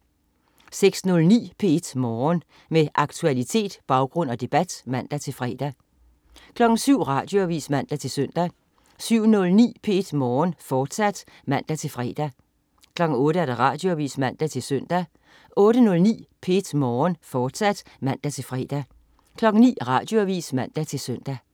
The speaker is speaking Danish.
06.09 P1 Morgen. Med aktualitet, baggrund og debat (man-fre) 07.00 Radioavis (man-søn) 07.09 P1 Morgen, fortsat (man-fre) 08.00 Radioavis (man-søn) 08.09 P1 Morgen, fortsat (man-fre) 09.00 Radioavis (man-søn)